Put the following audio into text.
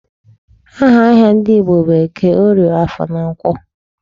Aha ahịa ndị Igbo bụ Eke, Orie, Afọ na Nkwọ.